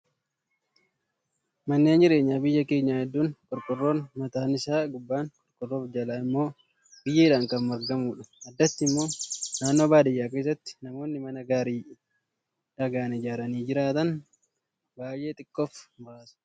Manneen jireenyaa biyya keenyaa hedduun qorqoorroon mataan isaa gubbaan qorqoorroo fi jala immoo biyyeedhaan kan maragamudha. Addatti immoo naannoo baadiyyaa keessatti namoonni mana gaarii dhagaan ijaaranii jiraatan baay'ee xiqqoo fi muraasa.